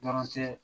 Dɔrɔn tɛ